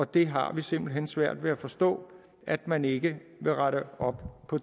det har vi simpelt hen svært ved at forstå at man ikke vil rette op på